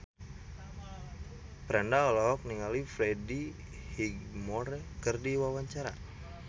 Franda olohok ningali Freddie Highmore keur diwawancara